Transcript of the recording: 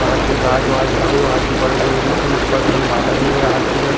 वहाद दे गाज वाज हवे वहाद दे बड़े-बड़े रुख हे ऊपर डहन बदाल हे यहाद दे करा --